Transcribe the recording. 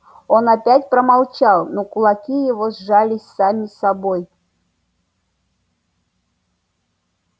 он опять промолчал но кулаки его сжались сами собой